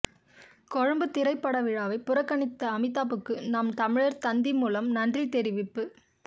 கொழும்பு திரைப்படவிழாவை புறக்கணித்த அமிதாபுக்கு நாம் தமிழர் தந்தி மூலம் நன்றி தெரிவிப்பு